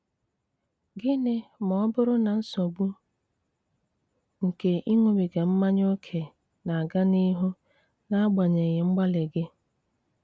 Gịnị ma ọ bụrụ na nsogbu nke ịṅụbiga mmanya ókè na-aga n'ihu n'agbanyeghị mgbalị gị?